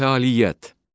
Fəaliyyət.